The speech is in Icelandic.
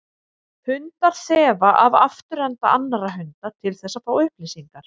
Hundar þefa af afturenda annarra hunda til þess að fá upplýsingar.